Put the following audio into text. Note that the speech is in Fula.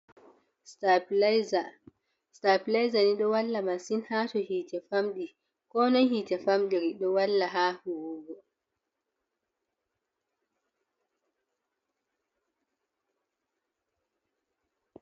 Stapileza, stapileza ni ɗo walli masin ha to hite famɗi, konoi hite famɗiri ɗo walla ha huwugo.